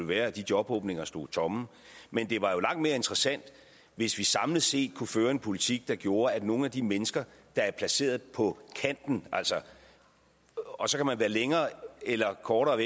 være at de jobåbninger stod tomme men det var langt mere interessant hvis vi samlet set kunne føre en politik der gjorde at nogle af de mennesker der er placeret på kanten og så kan man være længere eller kortere